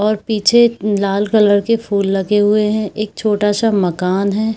और पीछे लाल कलर के फूल लगे हुए हैं एक छोटा सा मकान है।